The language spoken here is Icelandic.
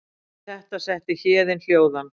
Við það setti Héðin hljóðan.